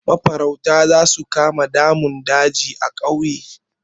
Mafarauta za su kama damun daji a ƙauye.